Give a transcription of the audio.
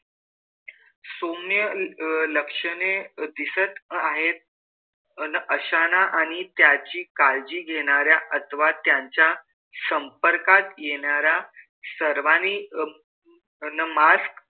सौम्य अं लक्षणे दिसत आहेत अन अशांना आणि त्याची काळजी घेणाऱ्या अथवा त्यांच्या संपर्कात येणाऱ्या सर्वांनी अन mask,